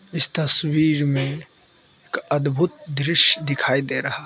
इस तस्वीर में एक अद्भुत दृश्य दिखाई दे रहा है।